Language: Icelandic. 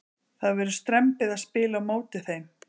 Það verður strembið að spila á móti þeim.